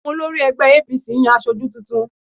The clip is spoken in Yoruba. Àwọn olórí ẹgbẹ́ APC ń yan aṣojú tuntun